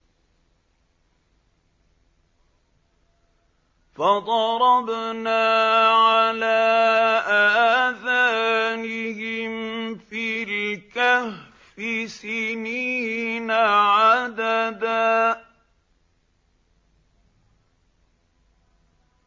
فَضَرَبْنَا عَلَىٰ آذَانِهِمْ فِي الْكَهْفِ سِنِينَ عَدَدًا